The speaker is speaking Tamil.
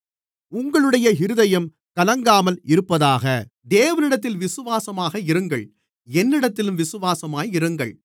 உங்களுடைய இருதயம் கலங்காமல் இருப்பதாக தேவனிடத்தில் விசுவாசமாக இருங்கள் என்னிடத்திலும் விசுவாசமாக இருங்கள்